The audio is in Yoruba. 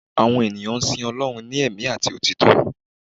àwọn ènìyàn sìn Ọlọrun ní ẹ̀mí ati òtítọ